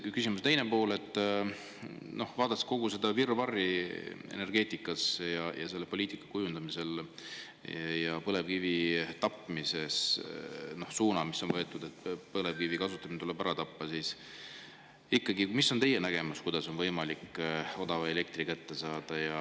Küsimuse teine pool: vaadates kogu seda virvarri energeetikas ja selle poliitika kujundamisel ja põlevkivi tapmist – on võetud suund, et põlevkivi kasutamine tuleb ära tappa –, mis on ikkagi teie nägemus, kuidas on võimalik odav elekter kätte saada?